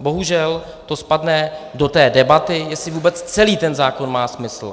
bohužel to spadne do té debaty, jestli vůbec celý ten zákon má smysl.